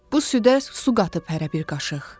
Bu südə su qatıb hərə bir qaşıq.